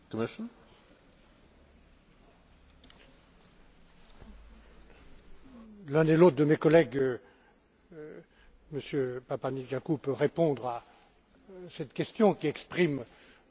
L'un et l'autre de mes collègues, M. Papanikolaou, peut répondre à cette question qui exprime le sentiment des citoyens grecs dans la grande difficulté où ils se trouvent.